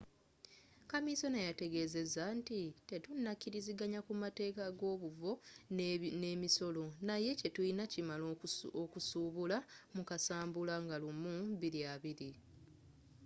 kaminsona yategezeza nti tetunakiriziganya kumateeka agobuvo nemisolo, naye kyetuyina kimala okusuubula mu kasambula 1 2020